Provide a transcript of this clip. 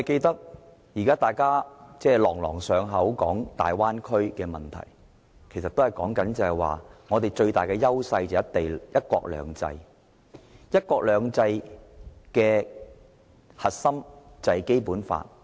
大家每次談到大灣區問題，都說香港最大的優勢是"一國兩制"，而"一國兩制"的核心是《基本法》。